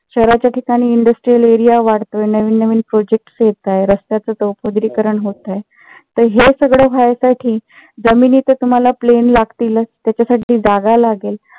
शहराच्या ठिकाणी industrial area वाढतोय. नवीन navin projects येत आहेत. रस्त्याच चौपदरी करण होत आहे. तर हे सगळ व्हायसाठी जमिनी तर तुम्हाला plane लागतीच. त्याच्यासाठी जागा लागेल.